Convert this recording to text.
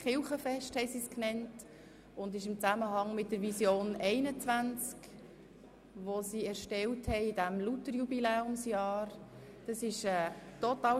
Sie nannten es Kirchenfest und es stand in Zusammenhang mit der Vision 21, die sie vor dem Hintergrund des Luther-Jubiläumsjahres erarbeitet haben.